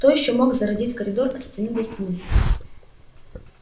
кто ещё мог зародить коридор от стены до стены